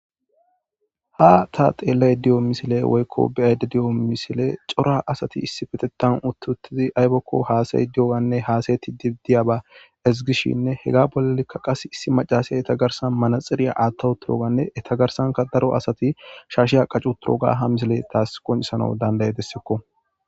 Ha ta xeellay di7o misile woykko biyayde di7o misile cora asati issi petetan uttutidi aybokko haasayi di7oanne haasayeti dibidiya ba ezigishinne hega bollekka qas issi macasay etagarsan manaxiriya aattawu turoganne etagarsanka daro asati shaashe ha qacu turoga ha misile taas qoncisana dandaye dessekko.